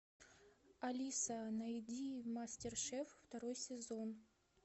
алиса найди мастер шеф второй сезон